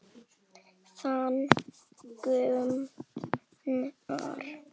Þinn, Gunnar.